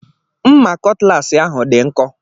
Mma kọtlas ahụ dị nkọ.